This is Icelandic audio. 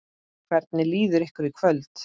Hvernig líður ykkur í kvöld?